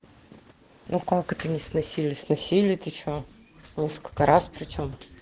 ну как это не сносили сносили ты что во сколько раз причём